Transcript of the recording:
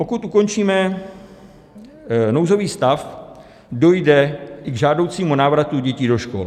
Pokud ukončíme nouzový stav, dojde i k žádoucímu návratu dětí do škol.